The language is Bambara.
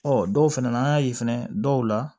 Ɔ dɔw fɛnɛ na an y'a ye fɛnɛ dɔw la